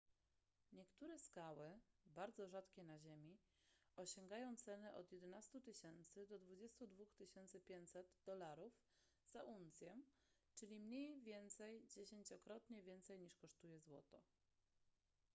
niektóre skały bardzo rzadkie na ziemi osiągają ceny od 11 000 do 22 500 dolarów za uncję czyli mniej więcej dziesięciokrotnie więcej niż kosztuje złoto